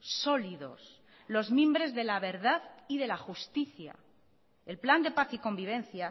sólidos los mimbres de la verdad y de la justicia el plan de paz y convivencia